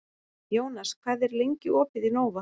Jónas, hvað er lengi opið í Nova?